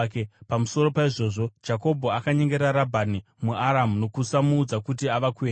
Pamusoro paizvozvo, Jakobho akanyengera Rabhani muAramu nokusamuudza kuti ava kuenda.